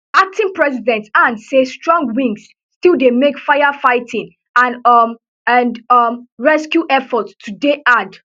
acting president han say strong winds still dey make firefighting and um and um rescue efforts to dey hard